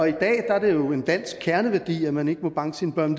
i dag er det jo en dansk kerneværdi at man ikke må banke sine børn